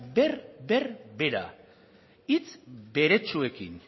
berbera hitz beretsuekin